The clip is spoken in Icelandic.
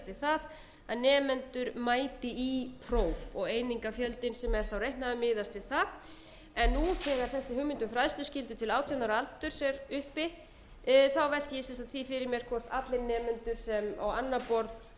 nemendur mæti í próf og einingafjöldinn sem er þá reiknaður miðast við það en nú þegar þessi hugmynd um fræðsluskyldu til átján ára aldurs er uppi velti ég sem sagt því fyrir mér hvort allir nemendur sem